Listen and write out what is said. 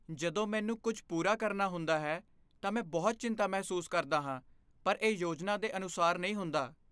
ਜਦੋਂ ਮੈਨੂੰ ਕੁਝ ਪੂਰਾ ਕਰਨਾ ਹੁੰਦਾ ਹੈ ਤਾਂ ਮੈਂ ਬਹੁਤ ਚਿੰਤਾ ਮਹਿਸੂਸ ਕਰਦਾ ਹਾਂ ਪਰ ਇਹ ਯੋਜਨਾ ਦੇ ਅਨੁਸਾਰ ਨਹੀਂ ਹੁੰਦਾ।